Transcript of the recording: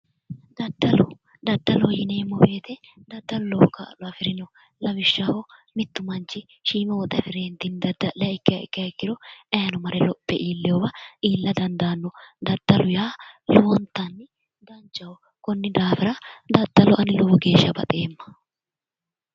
daddalo, daddalo yineemmo woyte daddalu lowo kaa'lo afirino lawishshaho, mittu manchushiima woxe afire daddaliha ikkiro ayiino lophe mare iillewa illa dandaanno, daddalu lowonta danchaho, konni daafira daddalo ani lowo geeshsha baxeemma